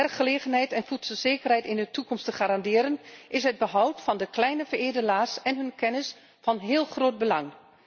Om werkgelegenheid en voedselzekerheid in de toekomst te garanderen is het behoud van de kleine veredelaars en hun kennis van heel groot belang.